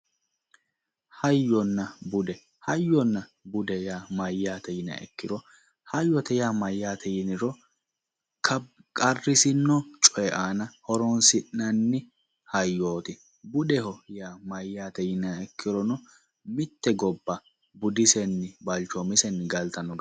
Hayyonna bude, hayyo bude yaa mayyaate yiniro, hayyote mayyate yiniro qarrisino coy aana horonsi'nanni hayyoti, budeho yaa mayyate yiniha ikkiro mitte gobba budisenninna balchomisenni galtanno.